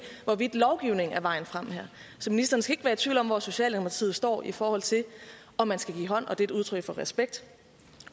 hvorvidt lovgivningen er vejen frem her så ministeren skal være tvivl om hvor socialdemokratiet står i forhold til om man skal give hånd og det er et udtryk for respekt